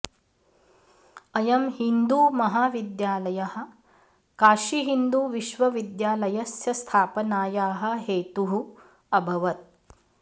अयं हिन्दू महाविद्यालयः काशी हिन्दु विश्वविद्यालयस्य स्थापनायाः हेतुः अभवत्